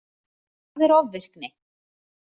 Hvað er ofvirkni?